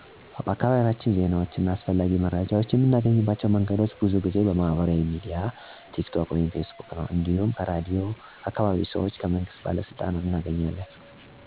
በአካባቢያችን ዜናዎችን እና አስፈላጊ መረጃዎችን የምናገኝባቸው መንገዶች ብዙ ጊዜ በማህበራዊ ሚዲያ (በፌስቡክ፣ ቲክ ቶክ) ነው። እንዲሁም ከራድዮን፣ ከአካባቢ ሰዎች እና ከመንግስት ባለሥልጣኖች እናገኛለን። ከእነዚህ መረጃ ምንጮች መካከል እኔ በጣም የማምነው ራዲዮ ነው። ምክንያቱም መረጃው የመንግስት ፍቃድ አግኝቶ የተዘጋጀ ነውና፣ ትክክለኛና እምነት የሚሰጠው በመሆኑ ታዋቂ ነው። ማህበራዊ ሚዲያ በአጠቃላይ ፈጣን ቢሆንም አንዳንድ ጊዜ ውሸት ወይም ያልተረጋገጠ መረጃ ሊወጣ ይችላል። ከሰው የሚመጡ መረጃዎችም ቢሆን ለማመን ይከብዳል።